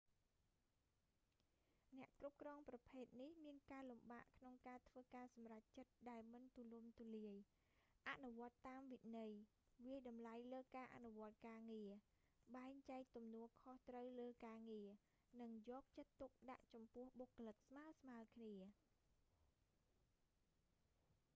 អ្នកគ្រប់គ្រងប្រភេទនេះមានការលំបាកក្នុងការធ្វើការសម្រេចចិត្តដែលមិនទូលំទូលាយ អនុវត្តន៍តាមវិន័យ វាយតម្លៃលើការអនុវត្តន៍ការងារ បែងចែកទំនួលខុសត្រូវលើការងារ និងយកចិត្តទុកដាក់ចំពោះបុគ្គលិកស្មើៗគ្នា